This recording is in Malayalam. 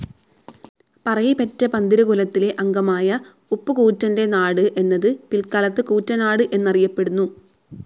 പറയിപെറ്റ പന്തിരു കുലത്തിലെ അംഗമായ ഉപ്പുകൂറ്റന്റെ നാട് എന്നത് പിൽക്കാലത്ത് കൂറ്റനാട്‌ എന്ന് അറിയപ്പെടുന്നു.